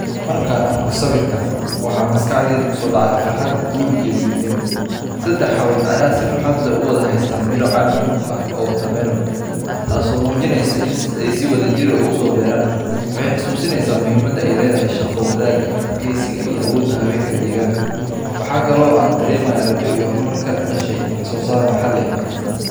Markaan arko sawirkan, waxa maskaxdayda ku soo dhacaya farxad, guul iyo midnimo. Saddex haween ah ayaa si farxad leh u wada haysta midho canab ah watermelon, taasoo muujinaysa in ay si wadajir ah u soo beereen. Waxay xasuusinaysaa muhiimadda ay leedahay shaqo wadaagga, adkaysiga iyo awoodda haweenka deegaanka. Waxa kale oo aan dareemayaa rajo iyo horumar ka dhashay wax soo saar maxalli ah.